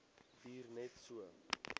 duur net so